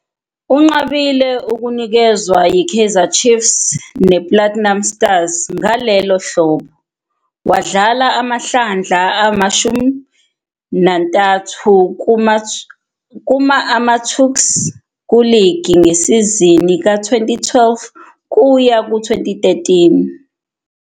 Unqabile ukunikezwa yiKaizer Chiefs nePlatinum Stars ngalelo hlobo, wadlala amahlandla ama-13 kuma-AmaTuks kuligi ngesizini ka-2012-13.